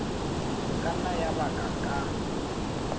ka nna ya ba ka